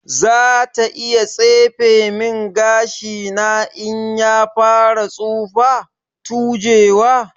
Zata iya tsefe min gashina in ya fara tsufa/tujewa.